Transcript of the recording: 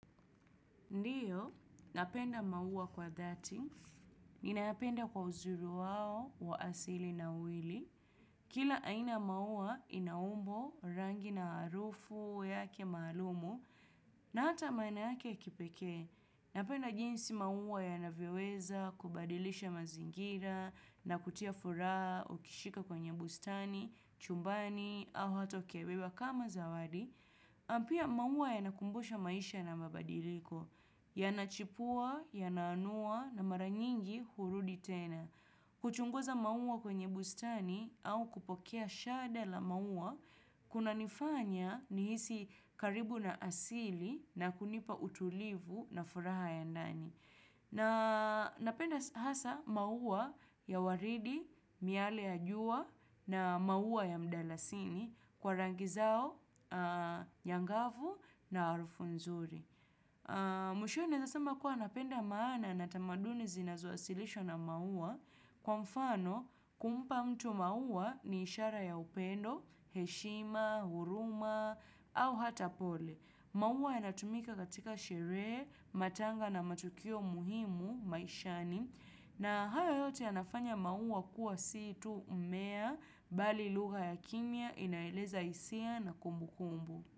Ndiyo, napenda maua kwa dhati. Ninayapenda kwa uzuri wao wa asili na uili. Kila aina ya maua ina umbo rangi na harufu, yake maalumu, na hata maeneo yake ya kipekee. Napenda jinsi maua yanavyoweza, kubadilisha mazingira, na kutia furaha, ukishika kwenye bustani, chumbani, au hata ukiibeba kama zawadi. Na pia maua yanakumbusha maisha na mabadiliko. Yanachipua, yanaanua na mara nyingi hurudi tena. Kuchunguza maua kwenye bustani au kupokea shada la maua, kunanifanya nihisi karibu na asili na kunipa utulivu na furaha ya ndani. Na napenda hasa maua ya waridi, miale ya jua na maua ya mdalasini kwa rangi zao, nyangavu na harufu nzuri. Mwishoye naeza sema kuwa napenda maana na tamaduni zinazoasilishwa na maua kwa mfano kumpa mtu maua ni ishara ya upendo, heshima, huruma au hata pole. Maua yanatumika katika sherehe, matanga na matukio muhimu maishani na haya yote yanafanya maua kuwa si tu mmea bali lugha ya kimya inaeleza hisia na kumbukumbu.